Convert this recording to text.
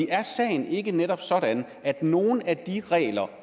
er sagen ikke netop sådan at nogle af de regler